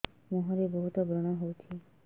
ମୁଁହରେ ବହୁତ ବ୍ରଣ ହଉଛି